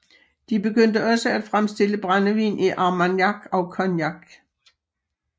De begyndte også at fremstille brændevin i Armagnac og Cognac